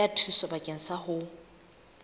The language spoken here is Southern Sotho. ya thuso bakeng sa ho